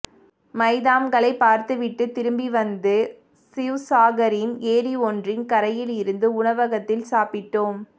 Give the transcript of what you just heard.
மைதாம்களை பார்த்துவிட்டு திரும்பிவந்து ஷிவ்சாகரின் ஏரி ஒன்றின் கரையில் இருந்த உணவகத்தில் சாப்பிட்டோம்